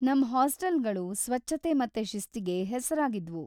ನಮ್ ಹಾಸ್ಟೆಲ್‌ಗಳು ಸ್ವಚ್ಛತೆ ಮತ್ತೆ ಶಿಸ್ತಿಗೆ ಹೆಸರಾಗಿದ್ವು.